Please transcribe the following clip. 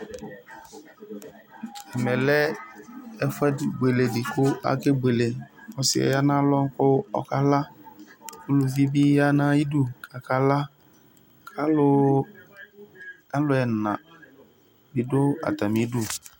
ɛmɛlɛ ɛfu bueledɩ kʊ akebuele, ɔsi yɛ ya nʊ alɔ kʊ ɔkala, uluvibɩ ya nʊ ayɩdu kɔkala, alʊ ɛna bɩ dʊ atamidʊ